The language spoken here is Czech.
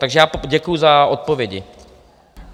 Takže já děkuji za odpovědi.